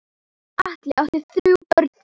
Atli átti þrjú börn fyrir.